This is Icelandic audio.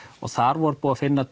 þar var búið að finna